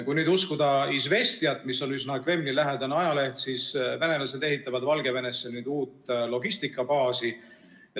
Kui uskuda Izvestijat, mis on üsna Kremli‑lähedane ajaleht, siis venelased ehitavad Valgevenesse nüüd uut logistikabaasi.